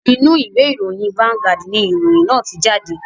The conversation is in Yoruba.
Inú ìwé ìròyìn "vanguard" ni ìròyìn náà tí jáde